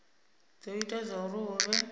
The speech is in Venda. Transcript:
do ita zwauri hu vhe